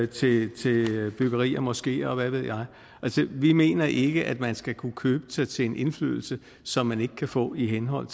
til byggeri af moskeer og hvad ved jeg altså vi mener ikke at man skal kunne købe sig til en indflydelse som man ikke kan få i henhold